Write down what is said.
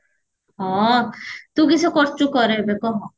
ହଁ ତୁ କିସ କରୁଚୁ ଏବେ କହ